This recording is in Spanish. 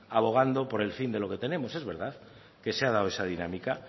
abogando por el fin de lo que tenemos es verdad que se ha dado esa dinámica